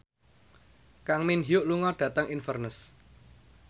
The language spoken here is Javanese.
Kang Min Hyuk lunga dhateng Inverness